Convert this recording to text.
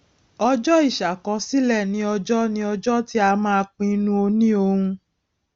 ọjọ ìṣàkọsílẹ ni ọjọ ni ọjọ tí a máa pinnu òniohun